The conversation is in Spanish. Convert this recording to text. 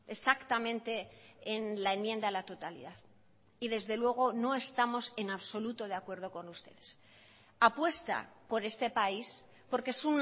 exactamente en la enmienda a la totalidad y desde luego no estamos en absoluto de acuerdo con ustedes apuesta por este país porque es